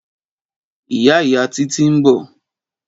Ìyá ìyá Titi n bò